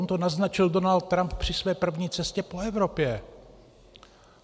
On to naznačil Donald Trump při své první cestě po Evropě.